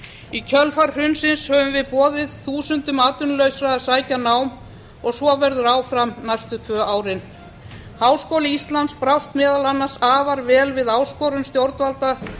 í kjölfar hrunsins höfum við boðið þúsundum atvinnulausra að sækja nám og svo verður áfram næstu tvö árin háskóli íslands brást meðal annars afar vel við áskorun stjórnvalda